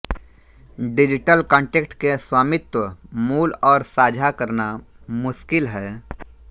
digital content के स्वामित्व मूल और साझा करना मुश्किल है